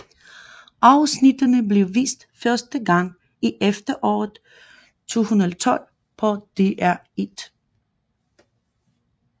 Afsnittene blev vist første gang i efteråret 2012 på DR1